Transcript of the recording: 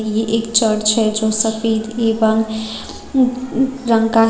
ये एक चर्च है जो सफेद एवं रंग का है।